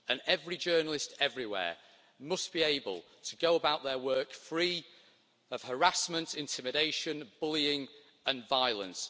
Every journalist everywhere must be able to go about their work free of harassment, intimidation, bullying and violence.